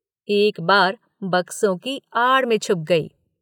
एक बार बक्सों की आड़ में छुप गई।